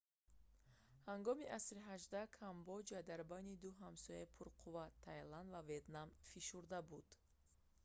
ҳангоми асри xviii камбоҷа дар байни ду ҳамсояи пурқудрат тайланд ва ветнам фишурда буд